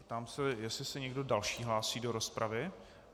Ptám se, jestli se někdo další hlásí do rozpravy.